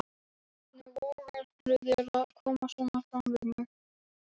Hann greip hann og dró hann upp.